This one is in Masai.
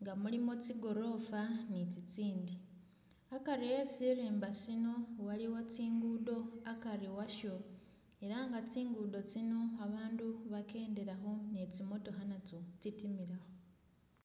nga mulimo tsigorofa ni tsitsindi, akari e sirimba sino waliwo tsi'ngudo akari washo ela nga tsi'ngudo tsino babandu bekendelakho ne tsimotookha natsyo tsitimilakho